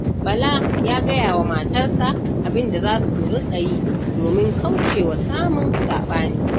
Bala ya gaya wa matarsa abin da za su riƙa yi, domin kauce wa samun saɓani.